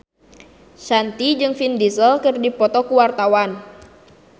Shanti jeung Vin Diesel keur dipoto ku wartawan